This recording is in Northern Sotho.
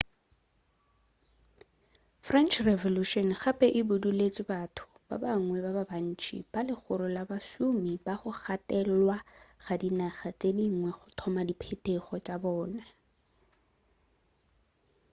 french revolution gape e buduletše batho ba bangwe ba bantši ba legoro la bašomi ba go gatelelwa ba di naga tše dingwe go thoma di phetogo tša bona